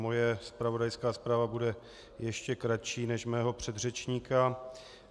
Moje zpravodajská zpráva bude ještě kratší než mého předřečníka.